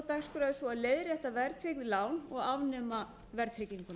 er svo að leiðrétta verðtryggð lán og afnema verðtrygginguna